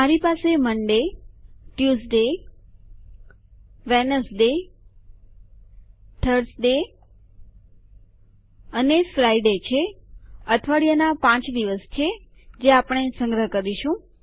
મારી પાસે મોન્ડે સોમવાર ટ્યુઝડે મંગળવાર વેડનેસડે બુધવાર થર્સડે ગુરુવાર અને ફ્રિડે શુક્રવાર છે અઠવાડિયાના ૫ દિવસ છે જે આપણે સંગ્રહ કરીશું